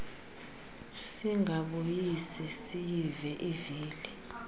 singabuyi siyile ivili